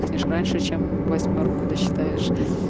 ешь раньше чем восьмёрку досчитаешь